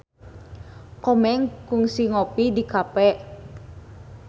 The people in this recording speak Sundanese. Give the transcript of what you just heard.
Komeng kungsi ngopi di cafe